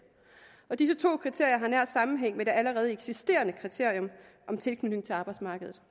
og disse to kriterier har nær sammenhæng med det allerede eksisterende kriterium om tilknytning til arbejdsmarkedet